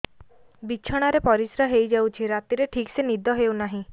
ବିଛଣା ରେ ପରିଶ୍ରା ହେଇ ଯାଉଛି ରାତିରେ ଠିକ ସେ ନିଦ ହେଉନାହିଁ